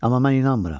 Amma mən inanmıram.